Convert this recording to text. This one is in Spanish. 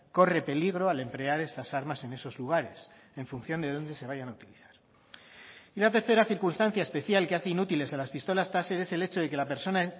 corre peligro al emplear esas armas en esos lugares en función de dónde se vayan a utilizar y la tercera circunstancia especial que hace inútiles a las pistolas taser es el hecho de que la persona